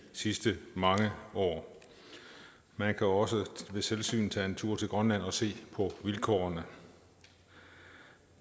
sidste mange år man kan også ved selvsyn tage en tur til grønland og se på vilkårene